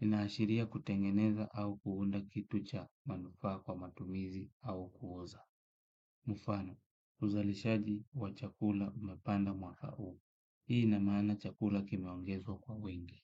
Inashiria kutengeneza au kuunda kitu cha manufaa kwa matumizi au kuuza. Mfano, uzalishaji wa chakula umepanda mwaka huu. Hii ina maana chakula kimeongezwa kwa wingi.